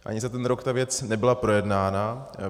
Ani za ten rok ta věc nebyla projednána.